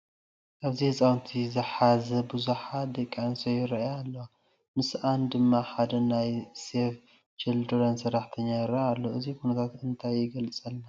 ኣብዚ ህፃውንቲ ዝሓዛ ብዙሓት ደቂ ኣንስትዮ ይርአያ ኣለዋ፡፡ ምስአን ድማ ሓደ ናይ ሴቭ ዘቺልድረን ሰራሕተኛ ይርአ ኣሎ፡፡ እዚ ኩነታት እንታይ ይገልፀልና?